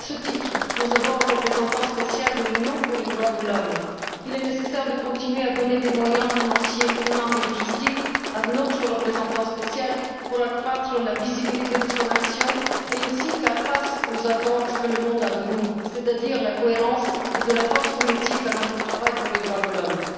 À ce titre, nous avons un représentant spécial de l'Union pour les droits de l'homme. Il est nécessaire de continuer à donner des moyens financiers, humains et logistiques à notre représentant spécial pour accroître la visibilité de son action et ainsi, faire face aux attentes de la société, c'est à dire de la cohérence et de la force politique à notre travail pour les droits de l'homme.